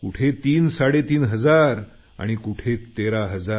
कुठे तीनसाडेतीन हजार आणि कुठे 13 हजार